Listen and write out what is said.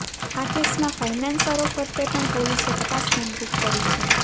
આ કેસમાં ફાઇનાન્સરો ફરતે પણ પોલીસે તપાસ કેન્દ્રિત કરી છે